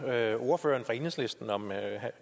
der er på solceller